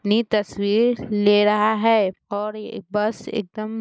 नी तस्वीर ले रहा और एक बस एकदम --